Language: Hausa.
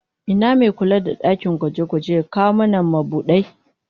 Ina me kula da dakin gwaje-gwaje ya kawo mana mabudai?